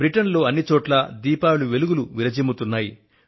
Britain లో అన్ని చోట్లా దీపావళి వెలుగులు విరజిమ్ముతున్నాయి